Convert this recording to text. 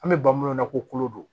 An bɛ ban minnu na kolo don